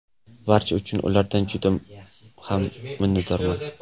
Barchasi uchun ulardan juda ham minnatdorman.